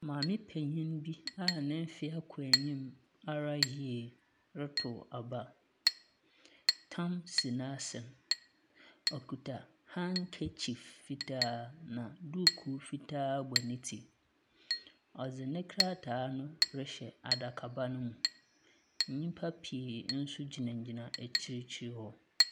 Maame penyin bi a ne mfeɛ kɔ enyim ara yie reto aba. Tam si n’asen. Ↄkuta handkerchief fitaa na dukuu fitaa bɔ ne tsi. Ↄdze ne krataa no rehyɛ adakaba no mu. Nnipa pii nso gyinagyina akyir hɔ.